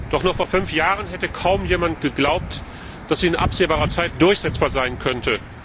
Doch noch vor fünf Jahren hätte kaum jemand geglaubt, dass sie in absehbarer Zeit durchsetzbar sein könnte.